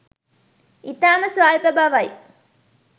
ඉතාම ස්වල්ප බවයි.